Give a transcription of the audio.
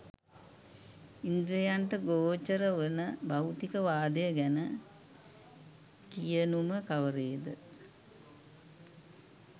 ඉන්ද්‍රියන්ට ගෝචර වන භෞතික වාදය ගැන කියනුම කවරේද?